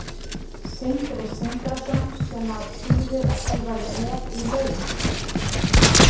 Sindri Sindrason: Sem að þýðir að þú verður með í laun?